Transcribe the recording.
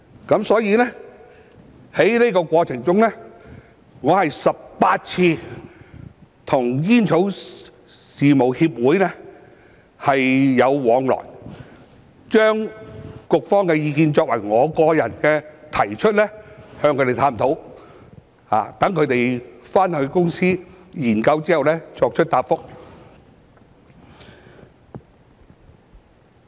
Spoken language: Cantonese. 因此，在過程中，我有18次跟煙草事務協會往來，由我個人向他們提出局方的意見，與他們探討，待他們回公司研究後作出答覆。